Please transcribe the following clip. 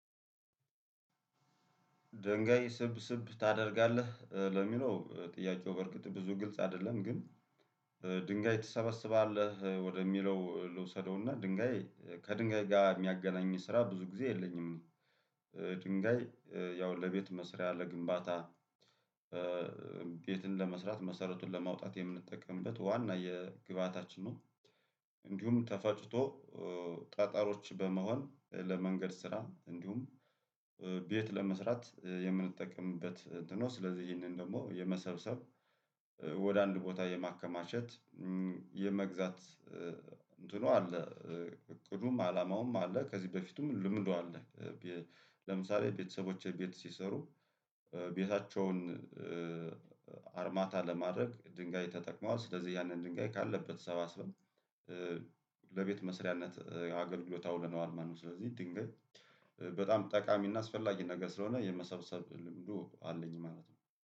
ድንጋይ ስብስብ ታደርጋለህ ለሚለው ጥያቄው በርግጥ ብዙ ግልጽ አይደለም ግን። ድንጋይ ትሰበስባለህ ወደሚለው ልውሰደውና ድንጋይ ከድንጋይ ጋር የሚያገናኝ ስራ ብዙ ጊዜ የለኝም። ድንጋይ ያው ለቤት መስሪያ ለግንባታ ቤትን ለመስራት መሰረቱን ለማውጣት የምንጠቀምበት ዋና የግብአታችን ነው። እንዲሁም ተፋጭቶ ጠጠሮች በመሆን ለመንገድ ስራ እንዲሁም ቤት ለመስራት የምንጠቅምበት እንትን ነው። ስለዚህ ይህንን ደግሞ የመሰብሰብ ወደ አንድ ቦታ የማከማቸት የመግዛት እንትኑ አለ እቅዱም አላማውም አለ ከዚህ በፊቱም ልምዱ አለ። ለምሳሌ ቤተሰቦቼ ቤት ሲሰሩ። ቤታቸውን አርማታ ለማድረግ ድንጋይ ተጠቅመዋል ስለዚህ ያንን ድንጋይ ካለበት አሰባስበን ለቤት መስሪያነት አገልግሎት አውለነዋል ማለት ነው። ስለዚህ ድንገት በጣም ጠቃሚና አስፈላጊ ነገር ስለሆነ የመሰብሰብ ልምዱ አለኝ ማለት ነው